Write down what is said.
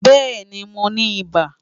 Bẹẹni, Mo ni iba